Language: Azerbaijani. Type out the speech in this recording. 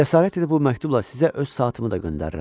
Cəsarət edib bu məktubla sizə öz saatımı da göndərirəm.